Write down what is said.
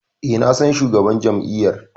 E, na san shugaban jam'iyyar.